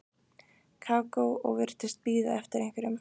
Kókó og virtist bíða eftir einhverjum.